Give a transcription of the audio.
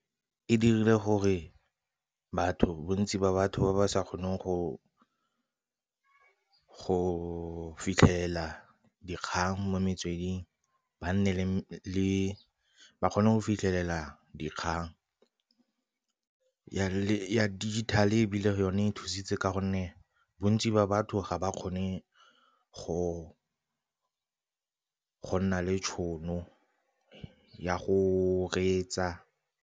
E dirile gore batho, bontsi ba batho ba ba sa kgoneng go fitlhela dikgang mo metsweding ba kgone go fitlhelela dikgang. Ya digital ebile ke yone e thusitse ka gonne bontsi ba batho ga ba kgone go nna le tšhono ya go reetsa.